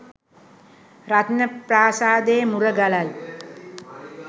රත්නප්‍රාසාදයේ මුරගලයි.